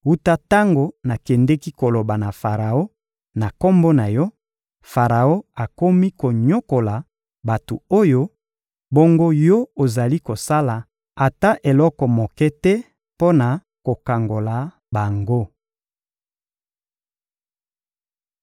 Wuta tango nakendeki koloba na Faraon na Kombo na Yo, Faraon akomi konyokola bato oyo, bongo Yo ozali kosala ata eloko moke te mpo na kokangola bango!